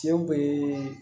Cɛw bee